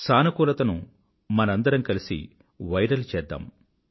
సానుకూలతను మనందరం కలిసి వైరల్ప్రచారం చేద్దాం